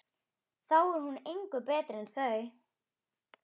Þá er hún engu betri en þau.